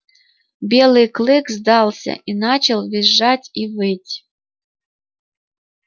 белый клык сдался и начал визжать и выть